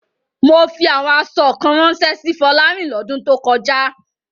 Mo fi àwọn aṣọ kan ránṣẹ́ sí Fọlárìn lọ́dún tó kọjá.